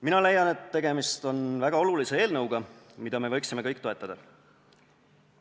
Mina leian, et tegemist on väga olulise eelnõuga, mida me võiksime kõik toetada.